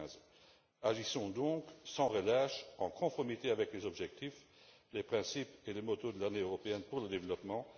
2015. Agissons donc, sans relâche, en conformité avec les objectifs, les principes et la devise de l'Année européenne pour le développement.